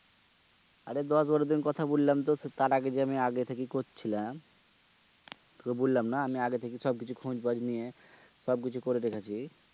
আরে দশ বারো দিন কথা বইলামদে তার আগে যে আমি আগে থেকে কচ্ছিলাম তুকে বইল্লামনা আমি আগে থেকে সব কিছু খোজ খবর নিয়ে সব কিছু করে দেখেছি।